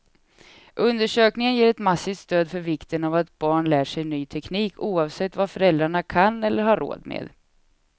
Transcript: Undersökningen ger ett massivt stöd för vikten av att barn lär sig ny teknik, oavsett vad föräldrarna kan eller har råd med.